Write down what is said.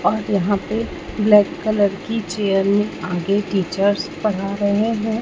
और यहां पे ब्लैक कलर की चेयर में आगे टीचर्स पढ़ा रहे हैं।